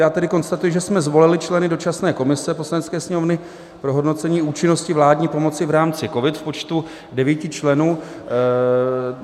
Já tedy konstatuji, že jsme zvolili členy dočasné komise Poslanecké sněmovny pro hodnocení účinnosti vládní pomoci v rámci COVID v počtu devíti členů.